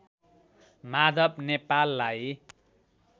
माधव नेपाललाई